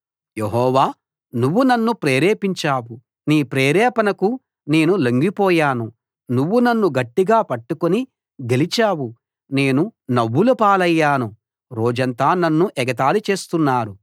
యెహోవా నువ్వు నన్ను ప్రేరేపించావు నీ ప్రేరేపణకు నేను లొంగిపోయాను నువ్వు నన్ను గట్టిగా పట్టుకుని గెలిచావు నేను నవ్వుల పాలయ్యాను రోజంతా నన్ను ఎగతాళి చేస్తున్నారు